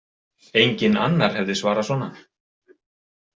Enginn annar hefði svarað svona.